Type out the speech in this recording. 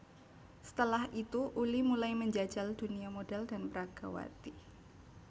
Setelah itu Ully mulai menjajal dunia modhel dan peragawati